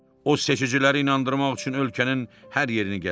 O seçiciləri inandırmaq üçün ölkənin hər yerini gəzdi.